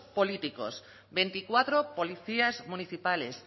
políticos veinticuatro policías municipales